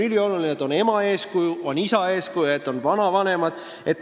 Üliolulised on ema ja isa eeskuju ning see, et on vanavanemad.